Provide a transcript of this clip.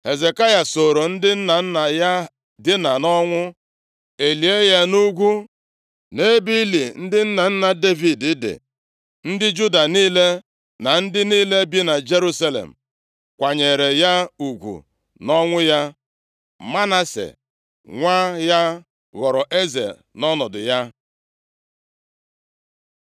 Hezekaya sooro ndị nna nna ya dinaa nʼọnwụ, e lie ya nʼugwu nʼebe ili ndị nna nna Devid dị. Ndị Juda niile na ndị niile bi na Jerusalem kwanyere ya ugwu nʼọnwụ ya. Manase nwa ya ghọrọ eze nʼọnọdụ ya.